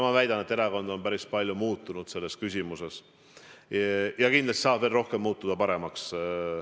Ma väidan, et erakond on selles küsimuses päris palju muutunud ja kindlasti saab muutuda veel paremaks.